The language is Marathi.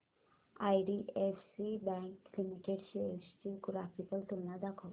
आयडीएफसी बँक लिमिटेड शेअर्स ची ग्राफिकल तुलना दाखव